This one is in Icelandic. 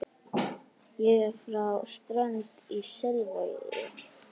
Ég er frá Strönd í Selvogi.